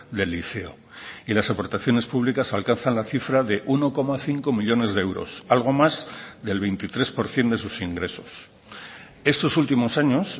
del liceo y las aportaciones públicas alcanzan la cifra de uno coma cinco millónes de euros algo más del veintitrés por ciento de sus ingresos estos últimos años